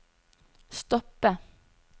stoppe